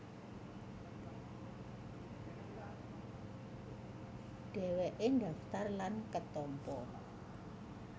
Dhèwèké ndhaftar lan ketampa